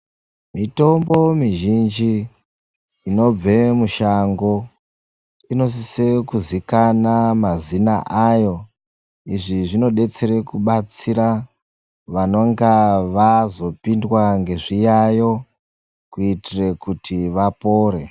Mitombo mizhinji inobve mushango inosise kuzikana mazina ayo. Izvi zvinodetsere kubatsira vanonga vazopindwa ngezviyayo kuitire kuti vapore.